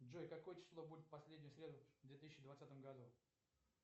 джой какое число будет в последнюю среду в две тысячи двадцатом году